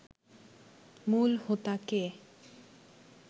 মূল হোতা কে